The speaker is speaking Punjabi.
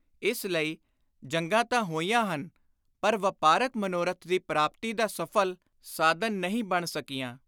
ਇਸ ਲਈ ਜੰਗਾਂ ਤਾਂ ਹੋਈਆਂ ਹਨ, ਪਰ ਵਾਪਾਰਕ ਮਨੋਰਥ ਦੀ ਪ੍ਰਾਪਤੀ ਦਾ ਸਫਲ ਸਾਧਨ ਨਹੀਂ ਬਣ ਸਕੀਆਂ।